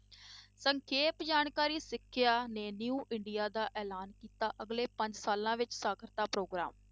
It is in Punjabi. ਸੰਖੇਪ ਜਾਣਕਾਰੀ ਸਿੱਖਿਆ new ਇੰਡੀਆ ਦਾ ਐਲਾਨ ਕੀਤਾ ਅਗਲੇ ਪੰਜ ਸਾਲਾਂ ਵਿੱਚ ਸਾਖ਼ਰਤਾ ਪ੍ਰੋਗਰਾਮ।